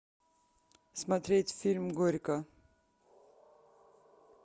смотреть фильм горько